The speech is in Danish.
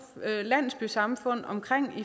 landsbysamfund omkring